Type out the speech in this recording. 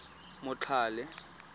motlhale